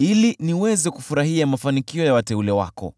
ili niweze kufurahia mafanikio ya wateule wako,